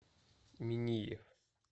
миниев